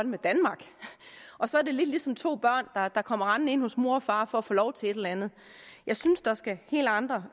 med danmark så er det lidt ligesom to børn der kommer rendende ind hos mor og far for at få lov til et eller andet jeg synes der skal helt andre